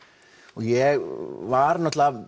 og ég var